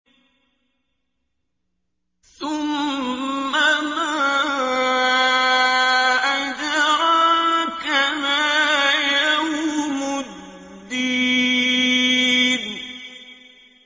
ثُمَّ مَا أَدْرَاكَ مَا يَوْمُ الدِّينِ